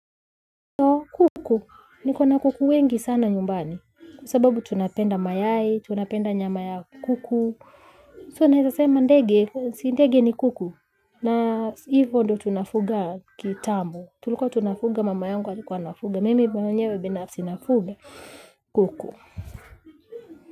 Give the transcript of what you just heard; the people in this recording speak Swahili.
Kuku niko na kuku wengi sana nyumbani kwa sababu tunapenda mayai, tunapenda nyama ya kuku. Tunaeza sema ndege, si ndege ni kuku na hivyo ndo tunafuga kitambo. Tulikuwa tunafuga mama yungu alikuwa anafuga. Mimi mwenyewe binafsi nafuga kuku.